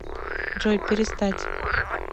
джой перестать